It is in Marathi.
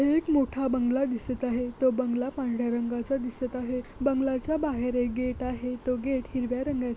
एक मोठा बंगला दिसत आहे. तो बंगला पांढर्‍या रंगाचा दिसत आहे. बंगल्याच्या बाहेर एक गेट आहे तो गेट हिरव्या रंगाचा--